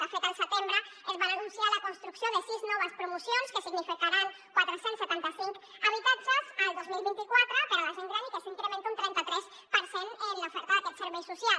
de fet al setembre es va anunciar la construcció de sis noves promocions que significaran quatre cents i setanta cinc habitatges el dos mil vint quatre per a la gent gran i que això incrementa un trenta tres per cent l’oferta d’aquest servei social